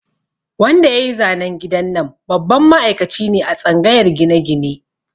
Wanda yayi zanen gidan nan babban ma'aikaci ne a tsangayar gine-gine